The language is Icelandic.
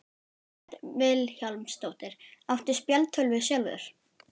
Hödd Vilhjálmsdóttir: Áttu spjaldtölvu sjálfur?